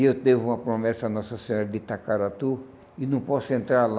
E eu devo uma promessa à Nossa Senhora de Itacaratu e não posso entrar lá.